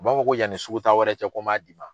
O b'a fɔ ko yanni sugu taa wɛrɛ cɛ ko n m'a d'i ma